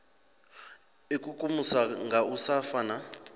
ikukumusa nga u sa fana